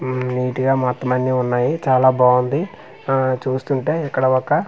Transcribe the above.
మ్మ్ neat గ మొత్తమన్నీ ఉన్నాయి చాల బావుంది ఆ చూస్తుంటే ఇక్కడ ఒకా--